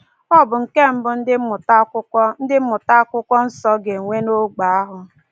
Ọ bụ nke mbụ ndị mmụta Akwụkwọ ndị mmụta Akwụkwọ Nsọ ga-enwe n'ogbe ahụ.